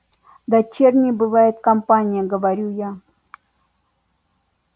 дочерней бывает компания говорю я